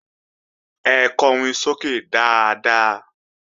Ẹ kọrin sókè dáadáa!